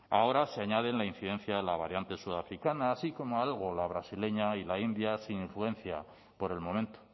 ahora se añaden la incidencia de la variante sudafricana así como algo la brasileña y la india sin influencia por el momento